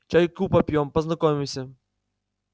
чайку попьём познакомимся